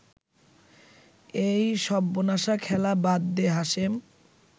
এই সব্বনাশা খেলা বাদ দে হাশেম